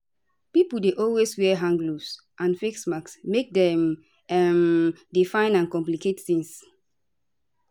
pipo dey always wear hand gloves and face masks make dem um dey fine and complicate tings